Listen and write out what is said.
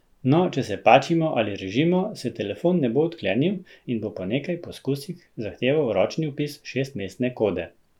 No, če se pačimo ali režimo, se telefon ne bo odklenil in bo po nekaj poskusih zahteval ročni vpis šestmestne kode.